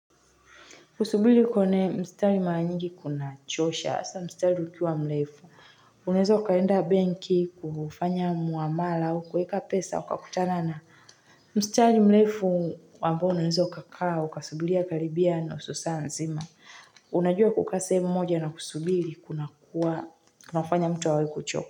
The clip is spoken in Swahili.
Kusubiri kwenye mstari mara nyingi kun chosha, hasa mstari ukiwa mrefu. Unaweza ukaenda benki kufanya mwamala au kuweka pesa, ukakutana na mstari mrefu. Ambao unaweza ukakaa, ukasubiria karibia nusu saa nzima. Unajua kukaa sehemu moja na kusubiri kunakuwa, kunafanya mtu awe wa kuchoka.